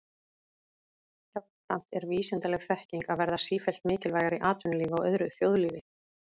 Jafnframt er vísindaleg þekking að verða sífellt mikilvægari í atvinnulífi og öðru þjóðlífi.